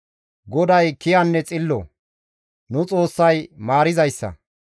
GODAY kiyanne xillo; nu Xoossay maarizayssa.